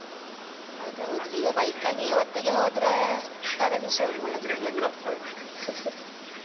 ಅದ್ ಹೌದು, ಈಗ bike ಅಲ್ಲಿ ಇವತ್ತಿಗೆ ಹೋದ್ರೆ .